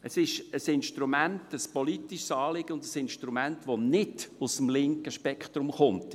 Es ist ein politisches Anliegen und ein Instrument, das nicht aus dem linken Spektrum kommt.